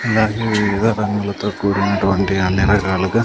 అలాగే ఎర్ర రంగులతో కూడినటువంటి అన్ని రకాలుగా--